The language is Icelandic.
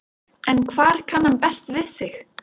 En hvar kann hann best við sig?